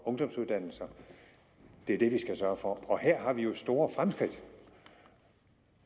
ungdomsuddannelser det er det vi skal sørge for og her har vi jo store fremskridt